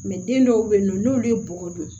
den dɔw bɛ yen nɔ n'olu ye bɔgɔ dun